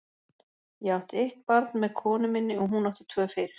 Ég átti eitt barn með konu minni og hún átti tvö fyrir.